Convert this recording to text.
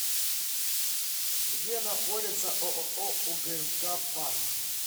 где находится ооо угмк фарм